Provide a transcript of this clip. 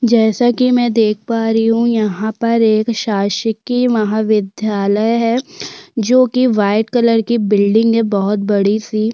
जैसा कि मैं देख पा रही हूँ यहाँ पर एक शासकीय महाविद्यालय हैं जो की वाइट कलर की एक बिल्डिंग है बोहत बड़ी सी--